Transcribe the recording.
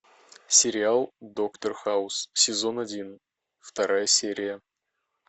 сериал доктор хаус сезон один вторая серия